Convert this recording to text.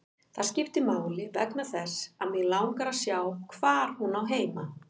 Það skiptir máli vegna þess að mig langar að sjá hvar hún á heima.